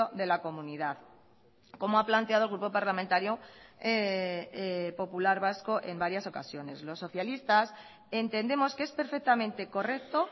de la comunidad como ha planteado el grupo parlamentario popular vasco en varias ocasiones los socialistas entendemos que es perfectamente correcto